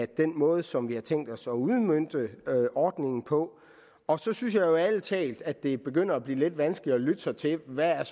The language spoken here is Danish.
den måde som vi har tænkt os at udmønte ordningen på og så synes jeg ærlig talt at det begynder at blive lidt vanskeligt at lytte sig til hvad